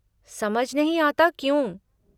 समझ नहीं आता क्यों?